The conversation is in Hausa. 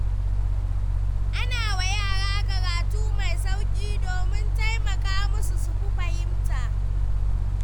Ana wa yara karatu mai sauƙi domin taimaka musu su fi fahimta.